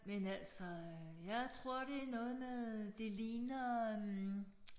Men altså øh jeg tror det noget med øh det ligner øh